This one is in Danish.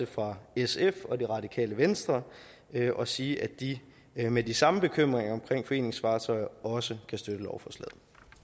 fra sf og det radikale venstre og sige at de med de samme bekymringer om foreningsfartøjer også kan støtte lovforslaget